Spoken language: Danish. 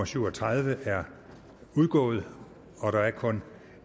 syv og tredive er udgået der er kun